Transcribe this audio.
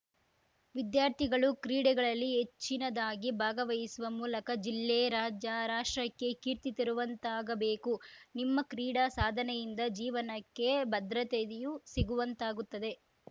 ವಿದ್ಯಾರ್ಥಿಗಳು ಕ್ರೀಡೆಗಳಲ್ಲಿ ಹೆಚ್ಚಿನದಾಗಿ ಭಾಗವಹಿಸುವ ಮೂಲಕ ಜಿಲ್ಲೆ ರಾಜ್ಯ ರಾಷ್ಟ್ರಕ್ಕೆ ಕೀರ್ತಿ ತರುವಂತಾಗಬೇಕು ನಿಮ್ಮ ಕ್ರೀಡಾ ಸಾಧನೆಯಿಂದ ಜೀವನಕ್ಕೆ ಭದ್ರತೆಯೂ ಸಿಗುವಂತಾಗುತ್ತದೆ